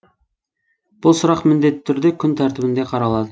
бұл сұрақ міндетті түрде күн тәртібінде қаралады